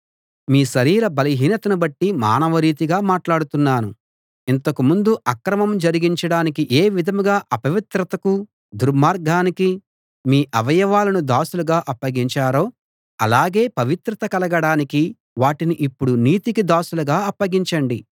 మీ శరీర బలహీనతను బట్టి మానవరీతిగా మాట్లాడుతున్నాను ఇంతకు ముందు అక్రమం జరిగించడానికి ఏ విధంగా అపవిత్రతకు దుర్మార్గానికి మీ అవయవాలను దాసులుగా అప్పగించారో ఆలాగే పవిత్రత కలగడానికి వాటిని ఇప్పుడు నీతికి దాసులుగా అప్పగించండి